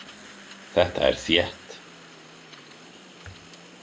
Þetta er þétt.